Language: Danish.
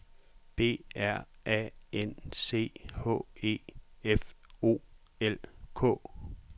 B R A N C H E F O L K